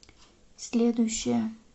следующая